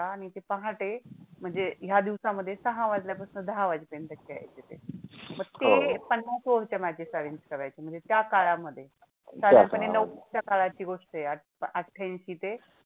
पहाटे म्हणजे ह्या दिवसामध्ये सहा वाजल्यापासनं दहा वाजेपर्यंत खेळायचे ते पण ते पन्नास over च्या matches arrange करायचे म्हणजे त्या काळामध्ये साधारणतः नव्वदच्या काळाची गोष्ट आहे अठ्ठाऐंशी ते